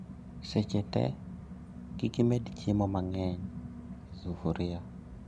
Seche tee, kikimed chiemo mang'eny e sufria